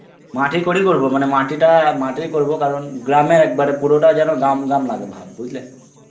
মাটির করেই করব মানে মাটিটা~ মাটির করবো কারণ গ্রামের~ একেবারে পুরোটা যেন গ্রাম গ্রাম লাগে ভাব, বুঝলে?